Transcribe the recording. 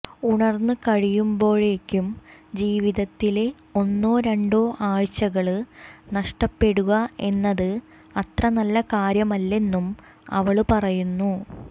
ഉണര്ന്ന് കഴിയുമ്പോഴേക്കും ജീവിതത്തിലെ ഒന്നോ രണ്ടോ ആഴ്ചകള് നഷ്ടപ്പെടുക എന്നത് അത്ര നല്ല കാര്യമല്ലെന്നും അവള് പറയുന്നു